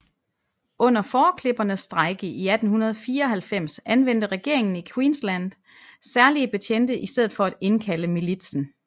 Under fåreklippernes strejke i 1894 anvendte regeringen i Queensland særlige betjente i stedet for at indkalde militsen